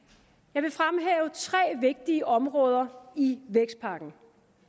jeg vil fremhæve tre vigtige områder i vækstpakken